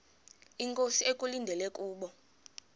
inkosi ekulindele kubo